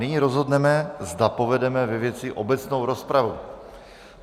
Nyní rozhodneme, zda povedeme ve věci obecnou rozpravu.